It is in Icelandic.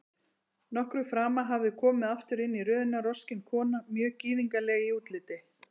Nokkru framar hafði komið aftur inn í röðina roskin kona, mjög gyðingleg í útliti.